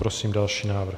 Prosím další návrh.